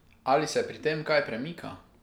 Ali se pri tem kaj premika?